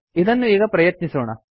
ಇದನ್ನು ಈಗ ಪ್ರಯತ್ನಿಸೋಣ